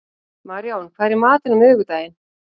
Maríon, hvað er í matinn á miðvikudaginn?